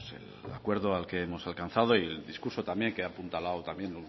el acuerdo al que hemos alcanzado y el discurso también que ha apuntalado también